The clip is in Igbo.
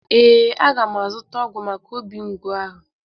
Ee, aga m azuta ọgwu maka obi mgbu ahụ.